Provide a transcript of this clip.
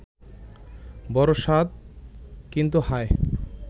বড় সাধ ; কিন্তু হায়